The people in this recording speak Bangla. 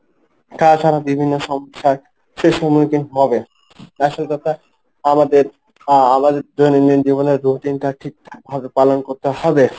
তাছাড়া বিভিন্ন সমস্যায় সে সমুখীন হবে আসল কথা আমাদের আহ আমাদের দৈনন্দিন জীবনের রুটিনটা ঠিকঠাক ভাবে পালন করতে হবে।